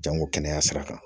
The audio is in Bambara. Jango kɛnɛya sira kan